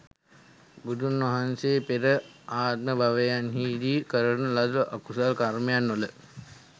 බුදුන්වහන්සේ පෙර ආත්මභවයන්හිදී, කරන ලද අකුසල කර්මයන් වල